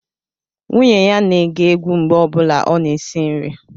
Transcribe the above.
Nwunye ya na-ege egwu mgbe ọ bụla ọ na-esi nri